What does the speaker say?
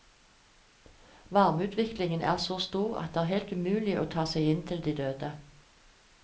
Varmeutviklingen er så stor at det er helt umulig å ta seg inn til de døde.